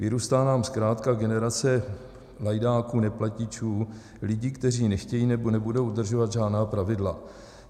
Vyrůstá nám zkrátka generace lajdáků, neplatičů, lidí, kteří nechtějí nebo nebudou dodržovat žádná pravidla.